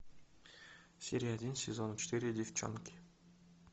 серия один сезона четыре девчонки